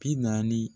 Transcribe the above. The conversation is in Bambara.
Bi naani